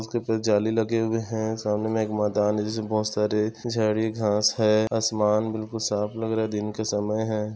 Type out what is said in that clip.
इसके ऊपर जाली लगे हुए है सामने में एक मैदान है जिसमें बहुत सारे झाड़ी घांस है आसमान बिल्कुल साफ लग रहा है दिन का समय है।